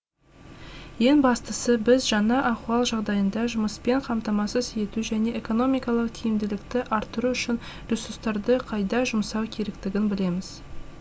ең бастысы біз жаңа ахуал жағдайында жұмыспен қамтамасыз ету және экономикалық тиімділікті арттыру үшін ресурстарды қайда жұмсау керектігін білеміз